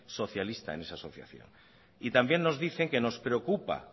socialista en esa asociación y también nos dicen que nos preocupa